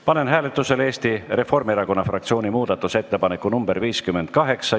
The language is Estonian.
Panen hääletusele Eesti Reformierakonna fraktsiooni muudatusettepaneku nr 58.